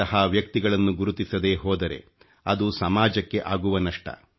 ಇಂತಹ ವ್ಯಕ್ತಿಗಳನ್ನು ಗುರುತಿಸದೇ ಹೋದರೆ ಅದು ಸಮಾಜಕ್ಕೆ ಆಗುವ ನಷ್ಟ